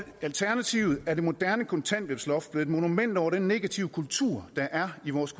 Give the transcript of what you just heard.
alternativet er det moderne kontanthjælpsloft blevet et monument over den negative kultur der er i vores